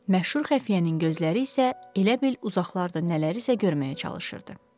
Məşhur xəfiyyənin gözləri isə elə bil uzaqlarda nələrisə görməyə çalışırdı.